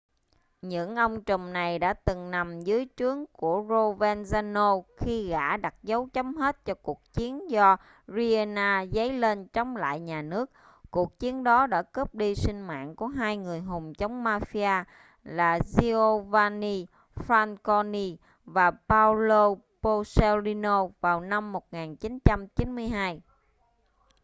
những ông trùm này đã từng nằm dưới trướng của provenzano khi gã đặt dấu chấm hết cho cuộc chiến do riina dấy lên chống lại nhà nước cuộc chiến đó đã cướp đi sinh mạng của hai người hùng chống mafia là giovanni falcone và paolo borsellino vào năm 1992